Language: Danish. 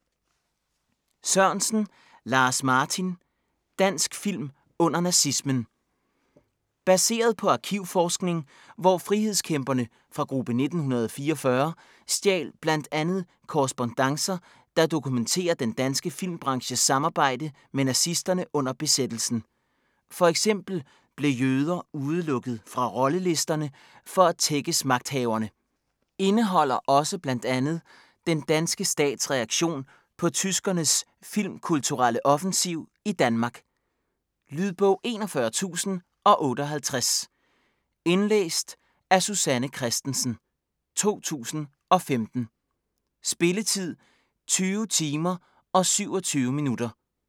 Sørensen, Lars-Martin: Dansk film under nazismen Baseret på arkivforskning, hvor frihedskæmperne fra Gruppe 1944 stjal bl.a. korrespondancer, der dokumenterer den danske filmbranches samarbejde med nazisterne under besættelsen. F.eks. blev jøder udelukket fra rollelisterne for at tækkes magthaverne. Indeholder også bl.a. den danske stats reaktion på tyskernes filmkulturelle offensiv i Danmark. Lydbog 41058 Indlæst af Susanne Kristensen, 2015. Spilletid: 20 timer, 27 minutter.